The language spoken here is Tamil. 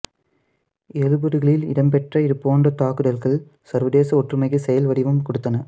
எழுபதுகளில் இடம்பெற்ற இது போன்ற தாக்குதல்கள் சர்வதேச ஒற்றுமைக்கு செயல் வடிவம் கொடுத்தன